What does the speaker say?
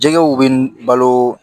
Jɛgɛw bɛ balo